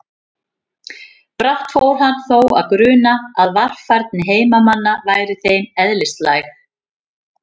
Brátt fór hann þó að gruna að varfærni heimamanna væri þeim eðlislæg.